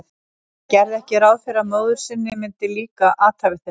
Hann gerði ekki ráð fyrir að móður sinni myndi líka athæfi þeirra.